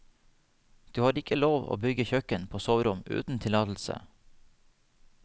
Du har ikke lov å bygge kjøkken på soverom uten tillatelse.